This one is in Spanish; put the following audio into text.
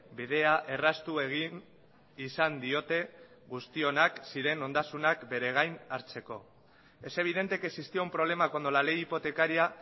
bidea erraztu egin izan diote guztionak ziren ondasunak beregain hartzeko es evidente que existía un problema cuando la ley hipotecaria